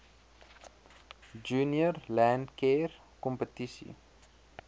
junior landcare kompetisie